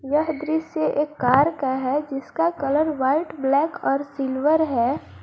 यह दृश्य एक का है जिसका कलर व्हाइट ब्लैक और सिल्वर है।